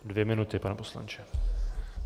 Dvě minuty, pane poslanče.